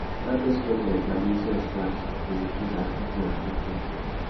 racquet sports like badminton and squash dey increase agility and quick reflex